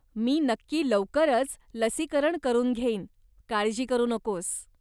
मी नक्की लवकरच लसीकरण करून घेईन, काळजी करू नकोस.